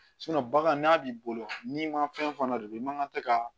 bagan n'a b'i bolo n'i ma fɛn fana don i man kan tɛ ka